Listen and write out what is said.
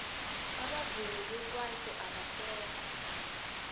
abavumi bekwaito abasekho